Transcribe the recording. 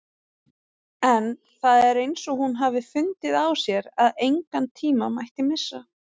En það er eins og hún hafi fundið á sér að engan tíma mætti missa.